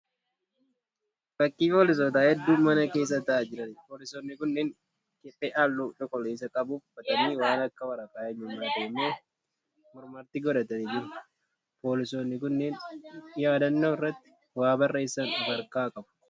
Fakkii Poolisoota hedduu mana keessa ta'aa jiraniiti. Poolisoonni kunneen kephee halluu cuquliisa qabu uffatanii waan akka waraqaa eenyummaa ta'e immoo mormatti godhatanii jiru. Poolisoonni kunneen yaadannoo irratti waa barreessan ofi harkaa qabu.